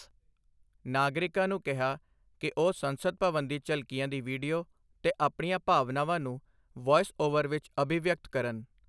ਨਾਗਰਿਕਾਂ ਨੂੰ ਕਿਹਾ ਕਿ ਉਹ ਸੰਸਦ ਭਵਨ ਦੀ ਝਲਕੀਆਂ ਦੀ ਵੀਡੀਓ ਤੇ ਆਪਣੀਆਂ ਭਾਵਨਾਵਾਂ ਨੂੰ ਵੌਇਸ ਓਵਰ ਵਿੱਚ ਅਭਿਵਿਅਕਤ ਕਰਨ